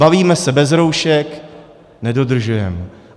Bavíme se bez roušek, nedodržujeme.